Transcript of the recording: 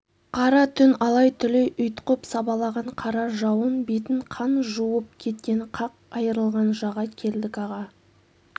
қара түн алай-түлей ұйтқып сабалаған қара жауын бетін қан жуып кеткен қақ айрылған жаға келдік аға